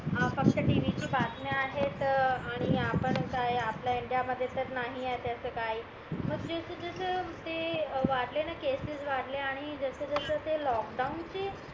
हा फक्त tv तील बातम्या आहेत आणि आपण काय आपल्या इंडिया मध्ये तर नाही येत असं काही मग जस जस ते वाडले ना केसेस वाडले ना आणि जस जस ते लोकडाउन चे